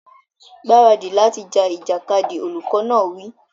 Gbáradì láti ja ìjàkadì! Olùkọ́ náà wí.